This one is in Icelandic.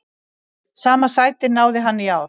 Sama sæti náði hann í ár.